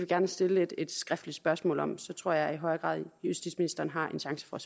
gerne stille et skriftligt spørgsmål om for så tror jeg i højere grad at justitsministeren har en chance for